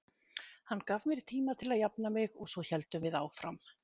Hann gaf mér tíma til að jafna mig og svo héldum við áfram.